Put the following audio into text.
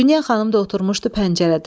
Dünya xanım da oturmuşdu pəncərədə.